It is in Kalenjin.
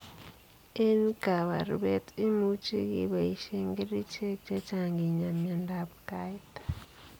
Eng kaparubet, imuchi kebaishee kericheek chechang kinyaa miandoop kait.